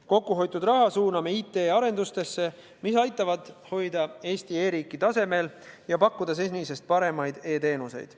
Kokkuhoitud raha suuname IT-arendusse, mis aitab hoida Eesti e-riiki tasemel ja pakkuda senisest paremaid e-teenuseid.